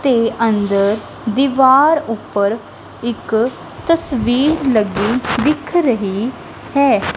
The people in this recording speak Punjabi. ਤੇ ਅੰਦਰ ਦੀਵਾਰ ਉੱਪਰ ਇੱਕ ਤਸਵੀਰ ਲੱਗੀ ਦਿੱਖ ਰਹੀ ਹੈ।